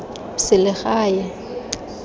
selegae